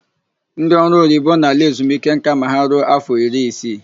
Ndị ọrụoyibo na-ala ezumike nka ma ha ruo áfọ iri isii.